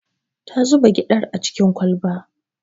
Ta zuba gyaɗar a cikin kwalba